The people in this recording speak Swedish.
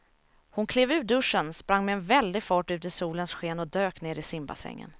Hon klev ur duschen, sprang med väldig fart ut i solens sken och dök ner i simbassängen.